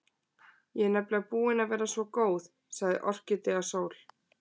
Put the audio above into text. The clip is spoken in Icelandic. Ég er nefnilega búin að vera svo góð, sagði Orkídea Sól.